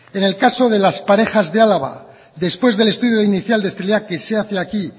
en el caso de las parejas de álava después del estudio inicial de esterilidad que se hace aquí